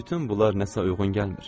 Bütün bunlar nəsə uyğun gəlmir.